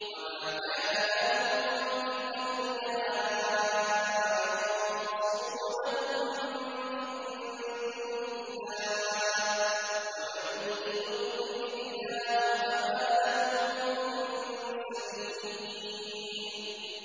وَمَا كَانَ لَهُم مِّنْ أَوْلِيَاءَ يَنصُرُونَهُم مِّن دُونِ اللَّهِ ۗ وَمَن يُضْلِلِ اللَّهُ فَمَا لَهُ مِن سَبِيلٍ